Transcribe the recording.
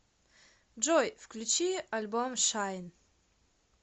джой включи альбом шайн